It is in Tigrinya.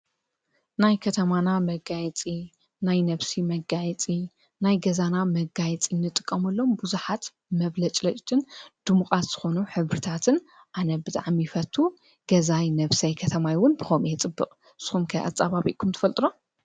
ናይ ከተማና መጋየፂ ፣ናይ ነፍሲ መጋየጺ፣ ናይ ገዛና መጋይጺ እንጥቀሙሎም ብዙሓት መብለጭለጭትን ድሙቓት ዝኾኑ ሕብርታትን ኣነ ብጣዕሚ ይፈቱ፡፡ ገዛይ ነፍሰይ ከተማይ ውን ብኸምኲ እየ ፅብቕ ንስኹም ከ ኣፀባብኹም ትፈልጡ ዶ?